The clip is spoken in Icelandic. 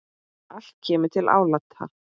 Allt kemur til álita.